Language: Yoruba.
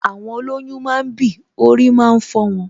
Àwọn olọ́yún máa ń bì, orí máa ń fọ wọn